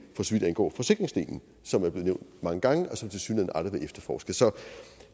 for så vidt angår forsikringsdelen som er blevet nævnt mange gange og som tilsyneladende aldrig efterforsket så